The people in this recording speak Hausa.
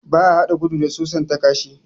Ba a hada gudu da susan ta kashi